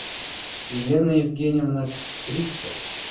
елена евгеньевна трицкая